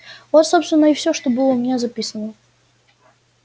вот собственно и всё что было у меня записано